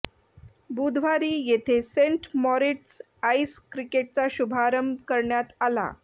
बुधवारी येथे saint Moritz ice क्रिकेटचा शुभारंभ करण्यात आला